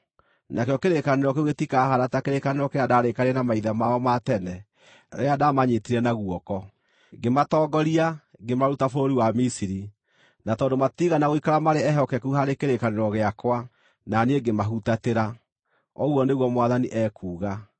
Nakĩo kĩrĩkanĩro kĩu gĩtikahaana ta kĩrĩkanĩro kĩrĩa ndaarĩkanĩire na maithe mao ma tene rĩrĩa ndaamanyiitire na guoko, ngĩmatongoria, ngĩmaruta bũrũri wa Misiri, na tondũ matiigana gũikara marĩ ehokeku harĩ kĩrĩkanĩro gĩakwa, na niĩ ngĩmahutatĩra, ũguo nĩguo Mwathani ekuuga.